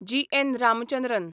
जी. एन. रामचंद्रन